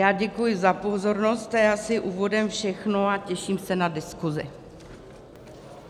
Já děkuji za pozornost, to je asi úvodem všechno a těším se na diskusi.